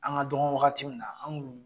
An ka dɔgɔ wagati min na an tun